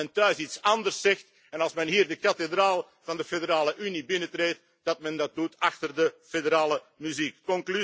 Als men thuis iets anders zegt en als men hier de kathedraal van de federale Unie binnentreedt, dat men dat doet achter de federale muziek.